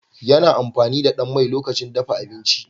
Yi amfani da ɗan mai lokacin dafa abinci